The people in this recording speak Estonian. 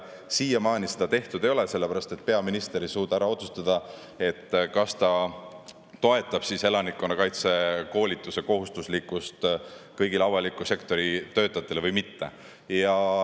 Siiamaani seda tehtud ei ole, sellepärast et peaminister ei suuda ära otsustada, kas ta toetab seda, et elanikkonnakaitse koolitus on kohustuslik kõigile avaliku sektori töötajatele või mitte.